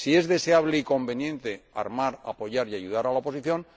si es deseable y conveniente armar, apoyar y ayudar a la oposición.